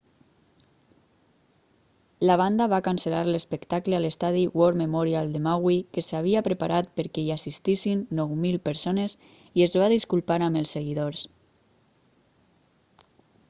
la banda va cancel·lar l'espectacle a l'estadi war memorial de maui que s'havia preparat perquè hi assistissin 9.000 persones i es va disculpar amb els seguidors